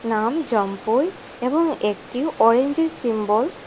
নাম জম্পোই এবং একটি অরেঞ্জের সিম্বল --